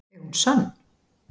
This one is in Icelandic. Er hún sönn?